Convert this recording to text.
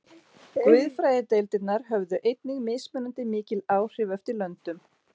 Guðfræðideildirnar höfðu einnig mismunandi mikil áhrif eftir löndum.